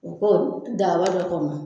U ko daaba dɔ kɔnɔ